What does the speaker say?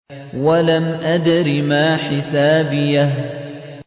وَلَمْ أَدْرِ مَا حِسَابِيَهْ